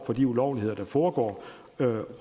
for de ulovligheder der foregår